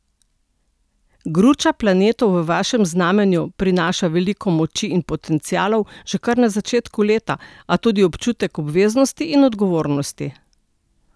Gruča planetov v vašem znamenju prinaša veliko moči in potencialov že kar na začetek leta, a tudi občutek obveznosti in odgovornosti.